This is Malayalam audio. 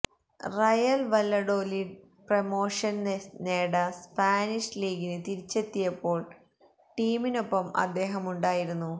റയല് വല്ലഡോലിഡ് പ്രൊമോഷന് നേട സ്പാനിഷ് ലീഗില് തിരിച്ചെത്തിയപ്പോള് ടീമിനൊപ്പം അദ്ദേഹമുണ്ടായിരുന്നു